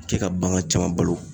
Kɛ ka bagan caman balo